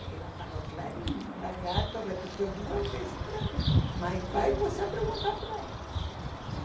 Ela falou clarinho, o lagarto repetiu duas vezes para mim, mas vai você perguntar para ela.